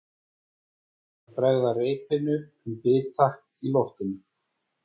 Ákveður að bregða reipinu um bita í loftinu.